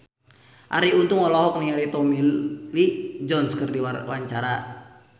Arie Untung olohok ningali Tommy Lee Jones keur diwawancara